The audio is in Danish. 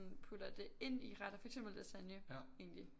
Putter det ind i retter for eksempel lasagne egentlig